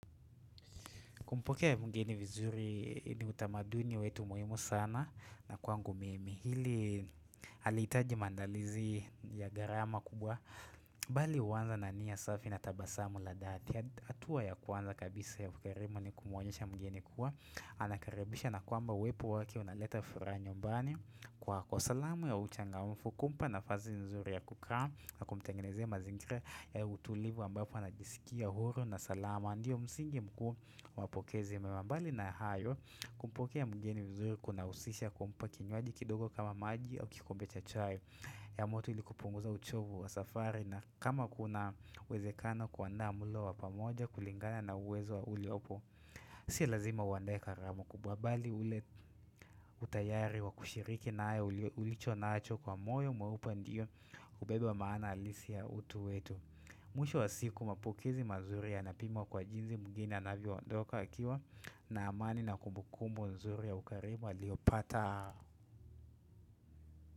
Kumpokea mwingine vizuri ni utamaduni wetu muhimu sana na kwangu mimi. Hili halitaji maandalizi ya gharama kubwa. Bali huanza na nia safi na tabasamu la dhati. Hatua ya kwanza kabisa yakuerema ni kumuonyesha mgeni kuwa. Anakaribisha na kwamba uwepo wake unaleta furaha nyumbani. Kwa kwa salamu ya uchangamfu kumpa nafasi nzuri ya kukaa na kumtengenezea mazingira ya utulivu ambapo anajisikia huru na salamu. Mandio msingi mkuu wapokezi mbali na hayo kumpokea mgeni vizuri kunahusisha kumpa kinywaji kidogo kama maji au kikombe cha chai. Ya moto ili kupunguza uchovu wa safari na kama kuna uwezekano kuanda mulo wa pamoja kulingana na uwezo wa uliopo. Si lazima uandae karamu kubwa mbali ule utayari wa kushiriki nayo ulicho nacho kwa moyo mweupe ndio ubebe wa maana alisi ya utu wetu. Mwisho wa siku mapokezi mazuri yanapimwa kwa jinsi mgeni anavyoondoka akiwa na amani na kumbukumbu nzuri ya ukarimu aliyopata.